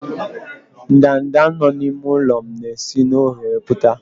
ndanda nọ n'ime ụlọ m na-esi n'oghere pụta